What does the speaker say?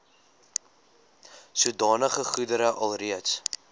sodanige goedere alreeds